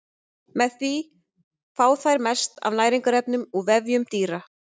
Með því fá þær mest af næringarefnum úr vefjum dýra.